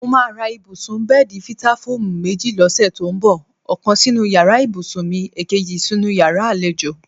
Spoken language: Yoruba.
Mo máa ra ibùsùn/bé̩è̩dì Fítáfóòmù méjì ló̩sè̩ tó ń bò̩; ò̩kan sínú yàrá ìbùsùn mi, èkejì sínú yàrá àlejò.